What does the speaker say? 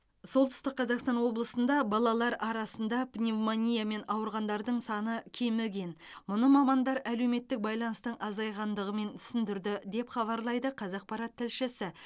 солтүстік қазақстан облысында балалар арасында пневмониямен ауырғандардың саны кеміген мұны мамандар әлеуметтік байланыстың азайғандығымен түсіндірді деп хабарлайды қазақпарат тілшісі